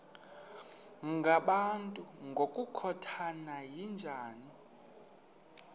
ngabantu ngokukhothana yinja